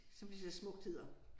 Som det så smukt hedder